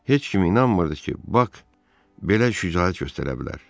Heç kim inanmırdı ki, Bak belə şücaət göstərə bilər.